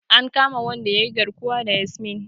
An kama wanda yayi garkuwa da Yasmin.